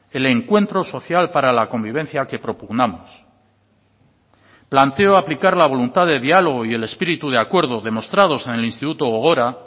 el encuentro social para la convivencia que propugnamos planteo aplicar la voluntad de diálogo y el espíritu de acuerdo demostrados en el instituto gogora